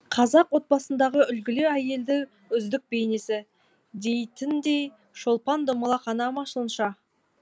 қазақ отбасындағы үлгілі әйелді үздік бейнесі дейтіндей шолпан домалақ ана ма сонша